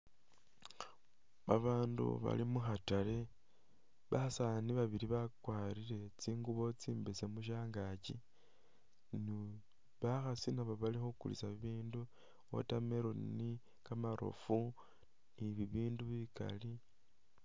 Babaandu bali mukhatale basaani babili bakwarire tsingubo tsimbesemu shangakyi ni bakhaasi nabi bali khukulisa bibindu watermelon, kamarofu ni bibindi bikali.